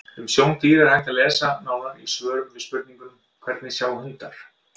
Um sjón dýra er hægt að lesa nánar í svörum við spurningunum: Hvernig sjá hundar?